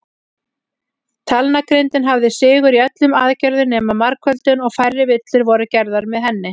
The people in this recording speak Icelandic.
Talnagrindin hafði sigur í öllum aðgerðum nema margföldun, og færri villur voru gerðar með henni.